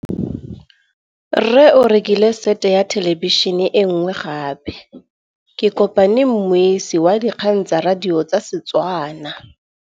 Rre o rekile sete ya thêlêbišênê e nngwe gape. Ke kopane mmuisi w dikgang tsa radio tsa Setswana.